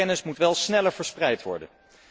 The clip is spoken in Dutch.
Maar die kennis moet wel sneller verspreid worden.